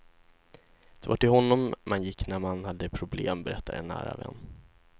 Det var till honom man gick när man hade problem, berättar en nära vän.